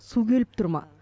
су келіп тұр ма